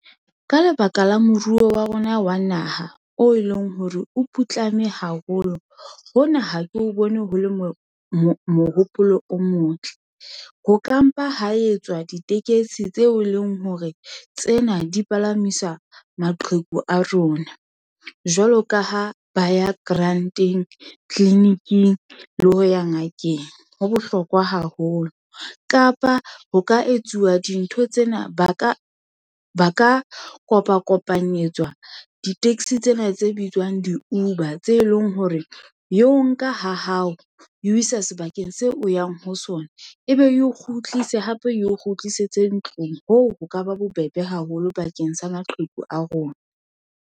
Ka lebaka la moruo wa rona wa naha, o e leng hore o putlame haholo, hona ha ke o bone ho le mohopolo o motle. Ho ka mpa ha etswa ditekesi tseo e leng hore, tsena di palamisa maqheku a rona. Jwalo ka ha ba ya grant-eng, tliliniking, le ho ya ngakeng. Ho bohlokwa haholo, kapa ho ka etsuwa dintho tsena. Ba ka kopa kopanyeletswa di-taxi tsena tse bitswang di-Uber, tse leng hore ye o nka ha hao, e o isa sebakeng seo o yang ho sona, ebe e o kgutlise hape eo kgutlisetse ntlong. Hoo ho ka ba bobebe haholo, bakeng sa maqheku a rona.